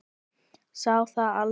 Sá það aldrei